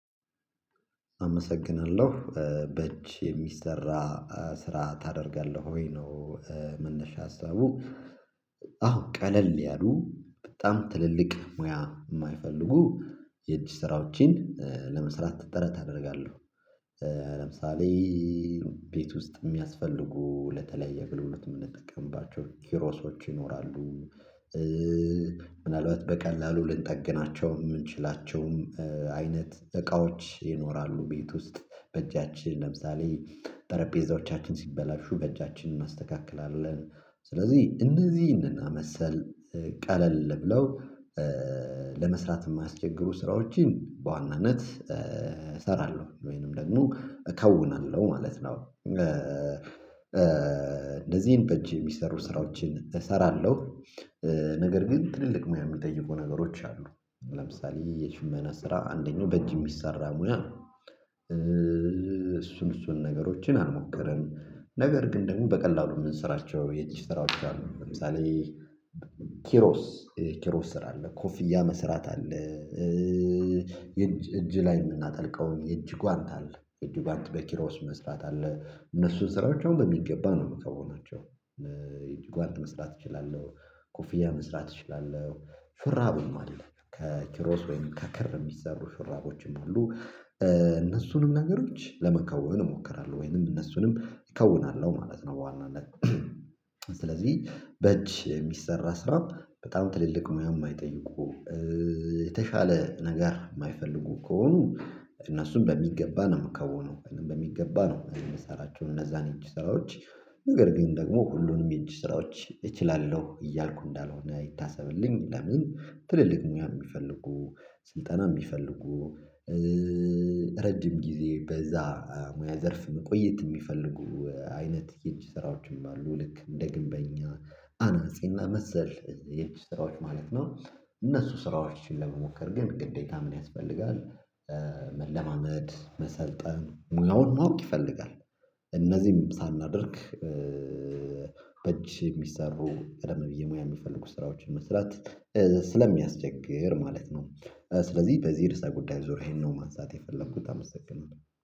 አመሰግናለሁ በእጅ የሚሰራ ስራ ታደርጋለህ ወይ ነው መነሻ ሀሳቡ አዎ ቀለል ያሉ በጣም ትልልቅ ሙያ የማይፈልጉ የእጅ ስራዎችን ለመስራት ጥረት አደርጋለሁ ለምሳሌ ቤት ውስጥ የሚያስፈልጉ ለተለያየ አገልግሎት የምንጠቀምባቸው ኪሮሶች ይኖራሉ ምናልባት በቀላሉ ልንጠግናቸው የምንችላቸውም አይነት እቃዎች ይኖራሉ፤ ቤት ውስጥ በእጃችን ለምሳሌ ጠረጴዛዎቻችን ሲበላሹ በእጃችን እናስተካክላለን፤ ስለዚህ እነዚህን እና መሰል ቀለል ብለው ለመስራት የማያስቸግሩ ስራዎችን በዋናነት እሰራለሁ ወይንም ደግሞ እከውናለሁ ማለት ነው እንደዚህ ይሄን በጅ የሚሰሩ ስራዎችን እሰራለሁ፤ ነገር ግን ትልልቅ ሙያ የሚጠይቁ ነገሮች አሉ ለምሳሌ የሽመና ስራ አንደኛው በእጅ የሚሰራ ሙያ እሱን እሱን ነገሮችን አልሞከርም ነገር ግን ደግሞ በቀላሉ የምንሰራቸው የእጅ ስራዎች አሉ ለምሳሌ ኪሮስ ኪሮስ ስራ አለ ኮፍያ መስራት አለ እጅ ላይ የምናጠልቀው የእጅ ጓንት አለ እጅ ጓንት በኪሮስ መስፋት አለ እነሱን ስራዎች አሁን በሚገባ ነው የምከውናቸው የእጅ ጓንት መስራት እችላለሁ፤ ኮፍያ መስራት እችላለሁ፤ ሹራብም አለ ከኪሮስ ወይም ከክር የሚሰሩ ሹራቦችም አሉ እነሱንም ነገሮች ለመከወን እሞክራለሁ ወይንም እነሱንም እከውናለሁ ማለት ነው በዋናነት። ስለዚህ በእጅ የሚሰራ ስራ በጣም ትልልቅ ሙያ የማይጠይቁ የተሻለ ነገር የማይፈልጉ ከሆኑ እነሱም በሚገባ ነው የምከውነው በሚገባ ነው የምሰራቸውን እነዛን የእጅ ስራዎች ነገር ግን ደግሞ ሁሉንም የእጅ ስራዎች እችላለሁ እያልኩ እንዳልሆነ ይታሰብልኝ ለምን ትልልቅ ሙያ የሚፈልጉ ስልጠና የሚፈልጉ ረጅም ጊዜ በዛ ሙያ ዘርፍ መቆየት የሚፈልጉ አይነት የእጅ ስራዎችም አሉ ልክ እንደ ግንበኛ አናጺና መሰል የእጅ ስራዎች ማለት ነው እነሱ ስራዎችን ለመሞከር ግን ግዴታ ምን ያስፈልጋል መለማመድ መሰልጠን ሙያውን ማወቅ ይፈልጋል እነዚህን ሳናደርግ በእጅ የሚሰሩ ቀደም ብዬ ሙያ የምፈልጉ ስራዎችን መስራት ስለሚያስቸግር ማለት ነው ስለዚህ በዚህ የርስ ጉዳይ ዙሪያ ይሄን ነው ማንሳት የፈለኩት አመሰግናለሁ